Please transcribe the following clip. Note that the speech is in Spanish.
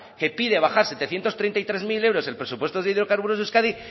que pide bajar setecientos treinta y tres mil euros el presupuesto de hidrocarburos de euskadi